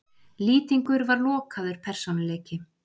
Lýtingur var lokaður persónuleiki.